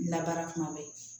Labaara kuma bɛɛ